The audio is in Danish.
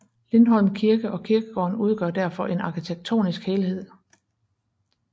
Lindholm Kirke og kirkegården udgør derfor en arkitektonisk helhed